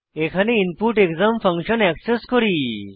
এখানে input exam function access করি